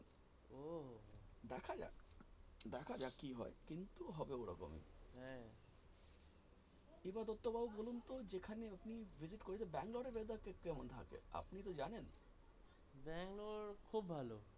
দেখা যাক, দেখা যাক কী হয় কিন্তু ওরকম হবে এবার দত্ত বলুন তো যেখানে আপনি visit করতে গেছিলেন Bangalore এর weather টা কেমন থাকে আপনি তো গিয়েছিলেন।